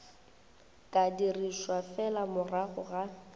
ka dirišwa fela morago ga